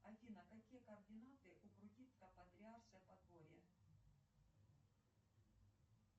джой положи на мой телефон тысяча рублей